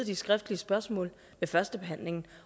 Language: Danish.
ved førstebehandlingen